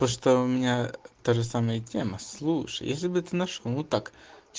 то что у меня та же самая тема слушай если бы ты нашёл ну так